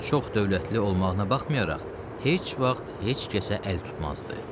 O çox dövlətli olmağına baxmayaraq, heç vaxt heç kəsə əl tutmazdı.